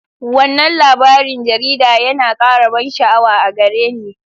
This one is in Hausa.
Wannan labarin jarida yana ƙara ban sha'awa a gare ni.